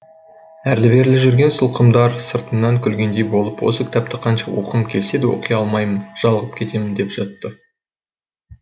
әрлі берлі жүрген сылқымдар сыртымнан күлгендей болып осы кітапты қанша оқығым келсе де оқи алмаймын жалығып кетем деп жатты